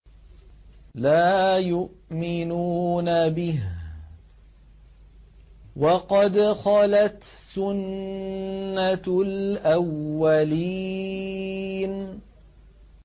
لَا يُؤْمِنُونَ بِهِ ۖ وَقَدْ خَلَتْ سُنَّةُ الْأَوَّلِينَ